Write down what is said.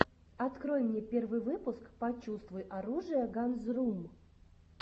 открой мне первый выпуск почувствуй оружие ганзрум